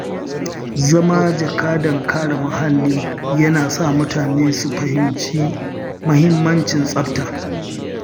Zama jakadan kare muhalli yana sa mutane su fahimci mahimmancin tsafta.